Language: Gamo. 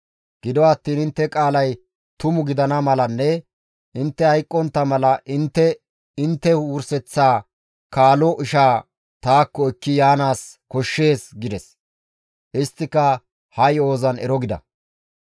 Gido attiin intte qaalay tumu gidana malanne intte hayqqontta mala intte intte wurseththa kaalo ishaa taakko ekki yaanaas koshshees» gides. Isttika ha yo7ozan ero gida.